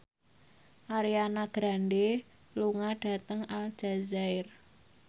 Ariana Grande lunga dhateng Aljazair